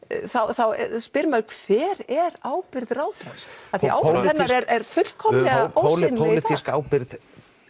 þá spyr maður hver er ábyrgð ráðherrans því að ábyrgð hennar er fullkomnlega ósýnileg pólitísk ábyrgð